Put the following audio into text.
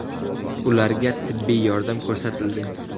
Ularga tibbiy yordam ko‘rsatildi.